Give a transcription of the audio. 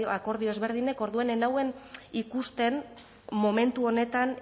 akordio ezberdinak orduan ez nuen ikusten momentu honetan